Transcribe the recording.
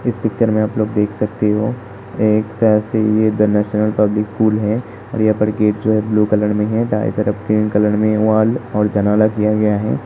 इस पिक्चर मे आप लोग देख सकते हो एक शायद से यह नैशनल पब्लिक स्कूल है और यहाँ पर गेट जो है ब्लू कलर मे है। दाए तरफ पिंक कलर मे वाल और जनाला किया गया है।